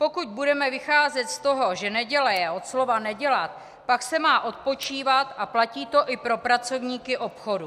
Pokud budeme vycházet z toho, že neděle je od slova nedělat, pak se má odpočívat, a platí to i pro pracovníky obchodu.